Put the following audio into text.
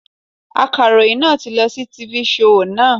Akaròyìn náà ti lọ sí tifi shoò naa